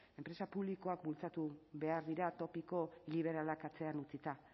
enpresa publikoak bultzatu behar dira topiko liberalak atzean utzita